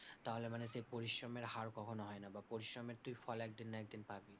তাহলে মানে সেই পরিশ্রমের হার কখনও হয় না। বা পরিশ্রমের তুই ফল একদিন না একদিন পাবি।